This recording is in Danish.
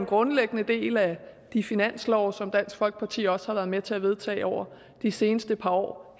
grundlæggende del af de finanslove som dansk folkeparti også har været med til at vedtage over de seneste par år